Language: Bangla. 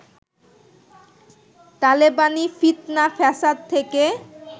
তালেবানি ফিৎনা ফ্যাসাদ থেকে